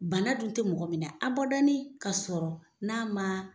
Bana dun tɛ mɔgɔ minɛ a badanin ka sɔrɔ n'a ma.